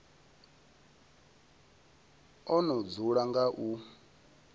o no dzula nga u